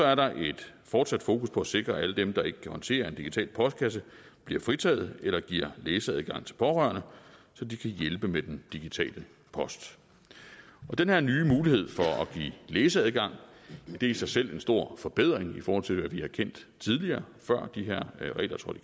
er der et fortsat fokus på at sikre at alle dem der ikke kan håndtere en digital postkasse bliver fritaget eller giver læseadgang til pårørende så de kan hjælpe med den digitale post og den her nye mulighed for at give læseadgang er i sig selv en stor forbedring i forhold til hvad vi har kendt tidligere før de her regler trådte